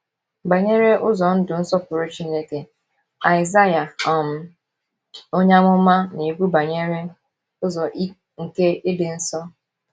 Banyere ụzọ ndụ nsọpụrụ Chineke, Aịzaịa um onye amụma na - ekwu banyere “ Ụzọ nke ịdị nsọ. ”